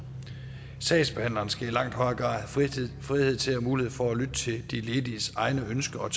sagsbehandleren skal i langt højere grad have frihed til og mulighed for at lytte til de lediges egne ønsker og